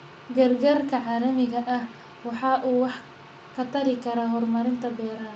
Gargaarka caalamiga ah waxa uu wax ka tari karaa horumarinta beeraha.